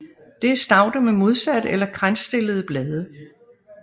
Det er stauder med modsatte eller kransstillede blade